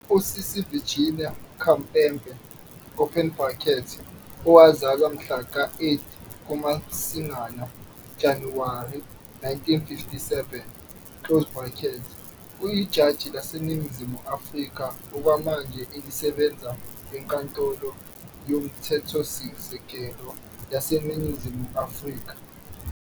USisi Virginia Khampepe open bracket owazalwa mhla ka 8 kuMasingana - Januwari 1957, uyijaji laseNingizimu Afrika okwamanje elisebenza eNkantolo yoMthethosisekelo yaseNingizimu Afrika.